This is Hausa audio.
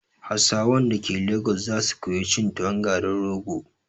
Hausawan dake lagos za su koyi cin tuwon garin rogo